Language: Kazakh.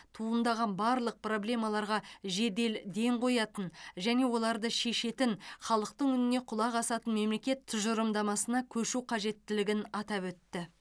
туындаған барлық проблемаларға жедел ден қоятын және оларды шешетін халықтың үніне құлақ асатын мемлекет тұжырымдамасына көшу қажеттілігін атап өтті